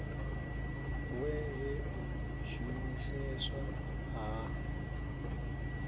we he u shumiseswa ha